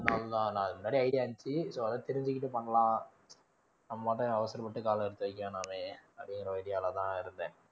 அது மாதிரி idea இருந்துச்சு so அதை தெரிஞ்சுக்கிட்டு பண்ணலாம் நம்பாட்டுக்கு அவசரப்பட்டு காலை எடுத்து வைக்க வேணாமே அப்படிங்கிற ஒரு idea லதான் இருந்தேன்